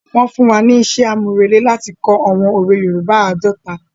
Wọn fún wa ni isẹ́ àmúrelé láti kọ àwọn òwe yoòbá àádọ́ta